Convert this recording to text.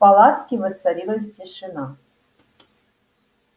в палатке воцарилась тишина